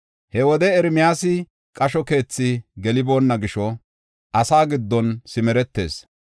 He wode Ermiyaasi qasho keethi geliboonna gisho, asaa giddon simeretees.